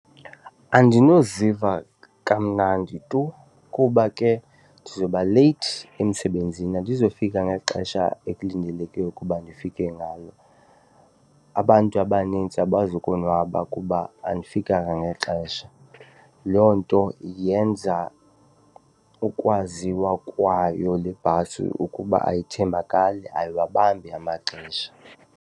Andinoziva kamnandi tu kuba ke ndizobaleyithi emsebenzini, andizufika ngexesha ekulindeleke ukuba ndifike ngalo abantu abanintsi abazukonwaba kuba andifikanga ngexesha. Loo nto yenza ukwaziwa kwayo le bhasi ukuba ayithembakali, ayiwabambi amaxesha.